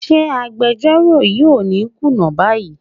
Ṣé agbejọ́rò yìí ò ní kùnà báyìí?